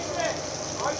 ayıb deyil?